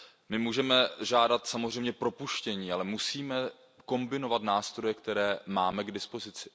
My můžeme žádat samozřejmě propuštění, ale musíme kombinovat nástroje, které máme k dispozici.